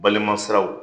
Balima siraw